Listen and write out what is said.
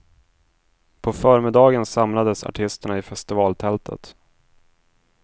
På förmiddagen samlades artisterna i festivaltältet.